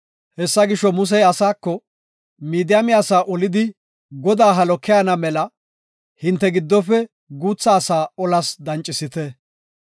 Hessa gisho, Musey asaako, “Midiyaame asaa olidi Godaa halo keyana mela hinte giddofe guutha asaa olas dancisite.